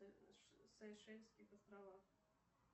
сейшельских островах